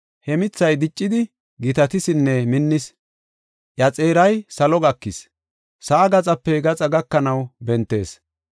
He mithay diccidi gitatisinne minnis. Iya xeeray salo gakees; sa7aa gaxape gaxa gakanaw bentees.